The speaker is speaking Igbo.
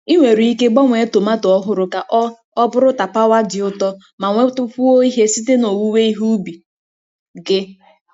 Ị nwere ike gbanwee tomato ọhụrụ ka ọ ọ bụrụ tapawa dị ụtọ ma nwetakwuo ihe site na owuwe ihe ubi gị.